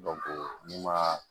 n'i ma